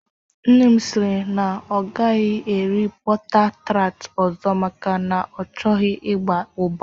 Nne m siri na ọ agaghị eri bọta tart ọzọ maka na ọ chọghị ịgba ụgba